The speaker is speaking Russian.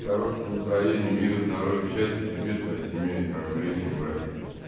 хорошем настроения мира здоровья счастья тебе твоя семья и твоим близким братик